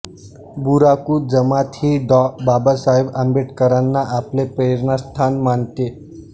Buraku जमात ही Dr Babasaheb आंबेडकरांना आपले प्रेरणास्थान मानते